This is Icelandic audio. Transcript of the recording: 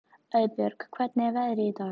Auðbjörg, hvernig er veðrið í dag?